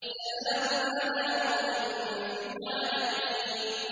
سَلَامٌ عَلَىٰ نُوحٍ فِي الْعَالَمِينَ